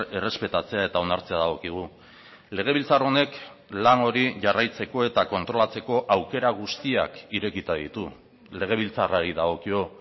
errespetatzea eta onartzea dagokigu legebiltzar honek lan hori jarraitzeko eta kontrolatzeko aukera guztiak irekita ditu legebiltzarrari dagokio